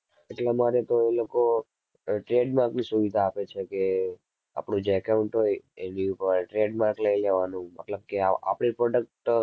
એટલે માટે તો એ લોકો અર tradmark ની સુવિધા આપે છે કે આપણું જે account હોય એની ઉપર tradmark લઈ લેવાનું મતલબ કે આપણી product